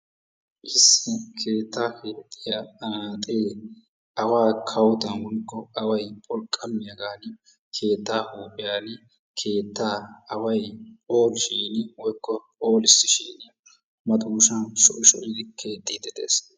issi keettaa keexxiya anaaxxee awaa kawottan woykko awany wolqqamiyagani keettaa huuphiyan keettaa away phoolishini woykko pholissishini madoosah shocci shoccidi keexxiidi des.